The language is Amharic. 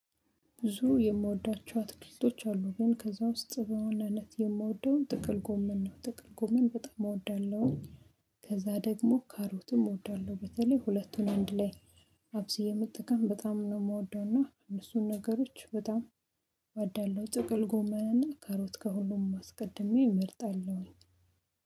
ብዙ የምወዳቸው አትክልቶች አሉ ግን ከዛ ውስጥ በዋናነት የምወደውን ጥቅል ጎመን ነው ጥቅል ጎመን በጣም እወዳለሁኝ። ከዛ ደግሞ ካሮትም እወዳለሁ በተለይ ሁለቱን አንድ ላይ አብስዬ መጠቀም በጣም ነው ምወደውና እነሱን ነገሮች በጣም እዋዳለሁ። ጥቅል ጎመናና ካሮት ከሁሉም አስቀድሜ እመርጣለሁኝ